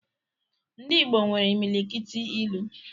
Ndị Igbo nwere imilikiti ilu